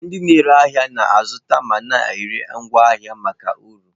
Ndị na-ere ahịa na-azụta ma na-ere ngwa ahịa maka uru.